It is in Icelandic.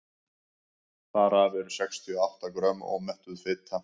þar af eru sextíu og átta grömm ómettuð fita